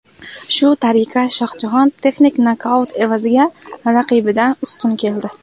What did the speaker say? Shu tariqa, Shohjahon texnik nokaut evaziga raqibidan ustun keldi.